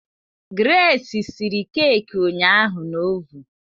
Grace siri keeki ụnyaahụ na ovun